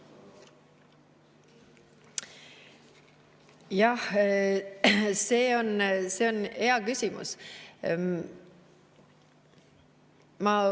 Jah, see on hea küsimus.